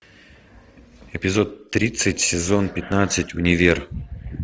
эпизод тридцать сезон пятнадцать универ